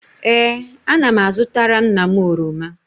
Ee, ana m azụtara nna m oroma